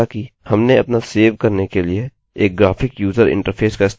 हालाँकि हमने अपना सेव करने के लिए एक ग्राफिक यूज़र इंटरफेस का इस्तेमाल किया है